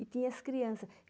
E tinha as criança.